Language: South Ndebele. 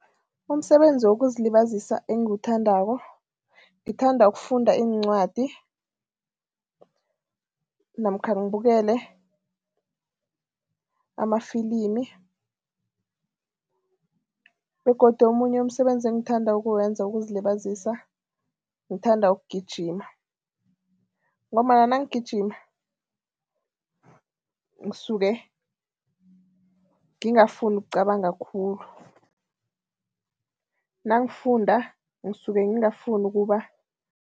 Umsebenzi wokuzilibazisa engiwuthandako, ngithanda ukufunda iincwadi namkha ngibukele amafilimi begodu omunye umsebenzi engithanda ukuwenza wokuzilibazisa, ngithanda ukugijima ngombana nangigijima ngisuke ngingafuni ukucabanga khulu, nangifunda ngisuke ngingafuni ukuba.